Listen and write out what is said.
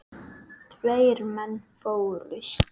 Tveir menn fórust.